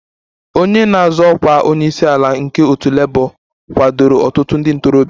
Onye na-azọ ọkwa onye isi ala nke otu Labour kwadoro ọtụtụ ndị ntorobịa